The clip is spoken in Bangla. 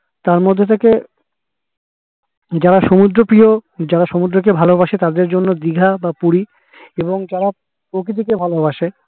তার মধ্যে থেকে যারা সমুদ্র তীরে যারা সমুদ্র কে ভালোবসে তাদের জন্য দিঘা বা পুরি এবং যারা প্রকৃতি কে ভালোবাসে